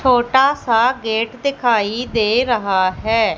छोटा सा गेट दिखाई दे रहा है।